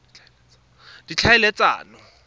ditlhaeletsano